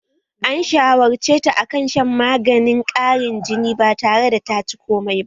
An shawarceta akan shan maganin ƙarin jini batare da taci komai ba